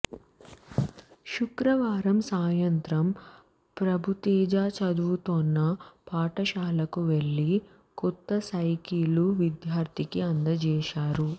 శుక్రవారం సాయంత్రం ప్రభుతేజ్ చదువుతోన్న పాఠశాలకు వెళ్లి కొత్త సైకిల్ను విద్యార్థికి అందజేశారు